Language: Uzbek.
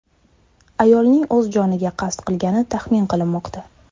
Ayolning o‘z joniga qasd qilgani taxmin qilinmoqda.